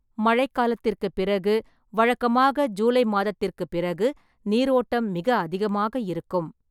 மழைக்காலத்திற்குப் பிறகு, வழக்கமாக ஜூலை மாதத்திற்குப் பிறகு நீர் ஓட்டம் மிக அதிகமாக இருக்கும்.